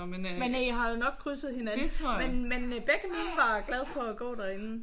Men I har jo nok krydset hinanden. Men men begge mine var glade for at gå derinde